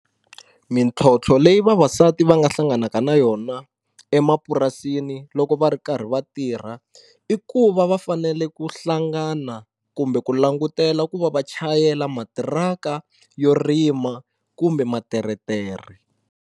Mintlhotlho leyi vavasati va nga hlanganaka na yona emapurasini loko va ri karhi va tirha i ku va va fanele ku hlangana kumbe ku langutela ku va va chayela matiraka yo rima kumbe materetere.